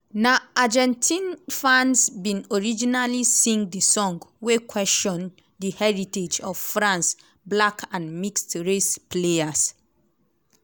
na argentine fans bin originally sing di song wey question di heritage of france black and mixed race players.